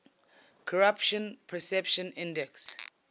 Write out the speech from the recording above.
corruption perceptions index